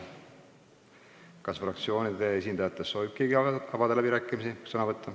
Kas fraktsioonide esindajatest soovib keegi sõna võtta?